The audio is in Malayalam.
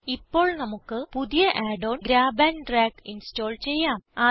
ഇപ്പോൾ നമുക്ക് പുതിയ Add on grab and drag install ചെയ്യാം